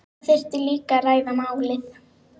Það þyrfti líka að ræða málin